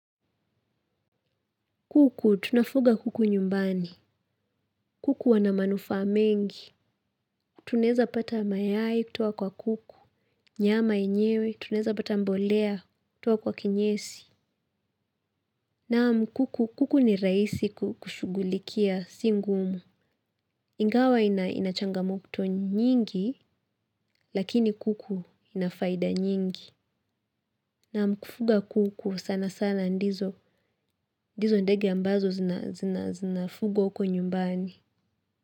Kuku, tunafuga kuku nyumbani. Kuku wana manufaa mengi. Tunaweza pata mayai kutoka kwa kuku. Nyama yenyewe. Tunaweza pata mbolea kutoka kwa kinyesi. Naam kuku, kuku ni rahisi kushugulikia si ngumu. Ingawa inachangamoto nyingi, lakini kuku ina faida nyingi. Naam kufuga kuku sana sana ndizo ndizo ndege ambazo zinafugwa huko nyumbani.